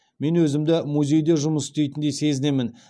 мен өзімді музейде жұмыс істейтіндей сезінемін